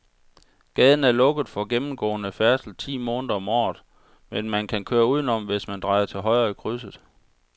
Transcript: Gaden er lukket for gennemgående færdsel ti måneder om året, men man kan køre udenom, hvis man drejer til højre i krydset.